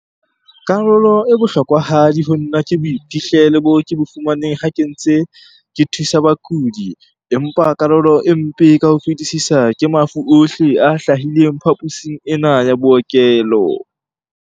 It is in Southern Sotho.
Karolo e bohlokwahadi ho nna ke boiphihlelo bo ke bo fumaneng ha ke ntse ke thusa bakudi, empa karolo e mpe ka ho fetisisa ke mafu ohle a hlahileng phaposing ena ya bookelo.